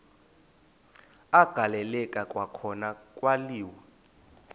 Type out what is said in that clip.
agaleleka kwakhona kwaliwa